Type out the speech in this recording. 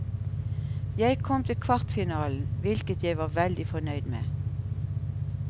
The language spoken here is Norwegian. Jeg kom til kvartfinalen, hvilket jeg var veldig fornøyd med.